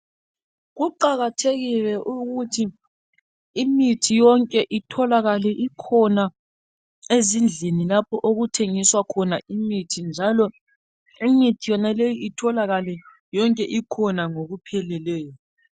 Kuqakathekile ukuthi imithi yonke itholakale ikhona ezindlini lapho okuthengiswa khona imithi njalo imithi yonaleyi itholakale yonke ikhona ngokupheleleyo.